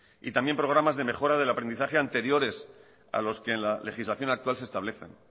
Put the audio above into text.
y también programas de mejora del aprendizaje anteriores a los que en la legislación actual se establece